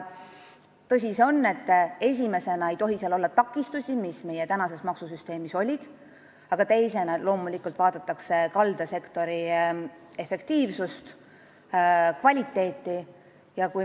Tõsi see on, et esimeseks ei tohi olla neid takistusi, mis meie maksusüsteemis praegu on, aga teiseks vaadatakse loomulikult kaldasektori efektiivsust, kvaliteeti.